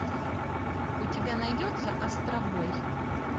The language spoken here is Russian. у тебя найдется астробой